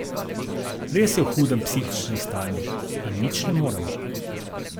Res je v hudem psihičnem stanju in nič ne moremo.